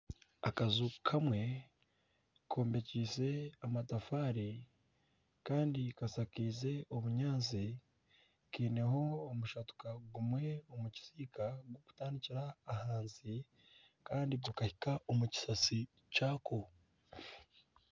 Akaju kamwe kombekyeise amatafaari kandi kashakaize obunyaatsi kaineho omushatuka gumwe omu kisiika okutandikira ahansi kandi gukahika omu kisasi ky'ako.